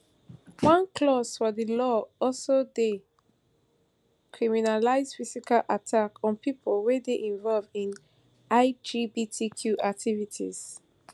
one clause for di law also dey criminalise physical attack on pipo wey dey involve in lgbtq activities